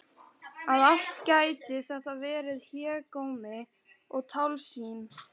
Að allt gæti þetta verið hégómi og tálsýn!